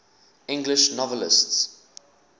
english novelists